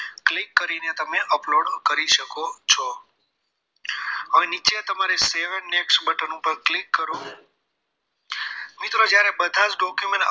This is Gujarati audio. Click કરીને તમે upload કરી શકો છો હવે નીચે તમારે save and next button ઉપર click કરો મિત્રો જ્યારે બધા જ document upload